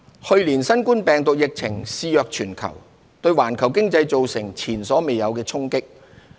去年，新冠病毒疫情肆虐全球，對環球經濟造成前所未有的衝擊。